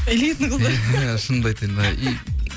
элитный қыздар иә шынымды айтайын мына